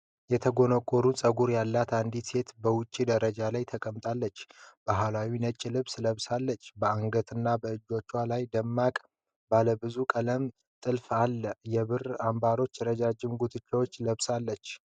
የተጎነጎነ ጸጉር ያላት አንዲት ሴት በውጭ ደረጃዎች ላይ ተቀምጣለች። ባህላዊ ነጭ ልብስ ለብሳለች፤ በአንገትና በእጅጌው ላይ ደማቅ ባለብዙ ቀለም ጥልፍ አለ። የብር አምባሮችና ረጅም ጉትቻዎች ለብሳለች።